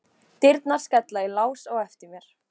Dyrnar skella í lás á eftir mér.